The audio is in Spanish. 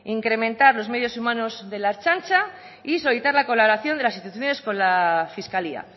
incrementar los medios humanos de la ertzaintza y solicitar la colaboración de las instituciones con la fiscalía